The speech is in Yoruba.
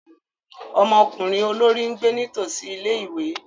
Ọmọkunrin olori n gbe nitosi ìlé-ìwé.